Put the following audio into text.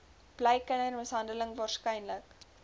bly kindermishandeling waarskynlik